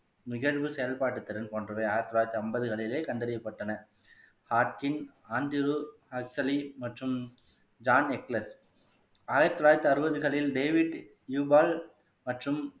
நிகழ்வு செயல்பாட்டு திறன் போன்றவை ஆயிரத்து தொள்ளாயிரத்து ஐம்பதுகளிலே கண்டறியப்பட்டன ஆயிரத்து தொள்ளாயிரத்து அறுபதுகளில் மற்றும்